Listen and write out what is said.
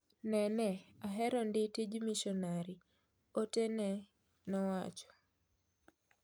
"Nene aherondi tij mishonari,"ote ne nowacho.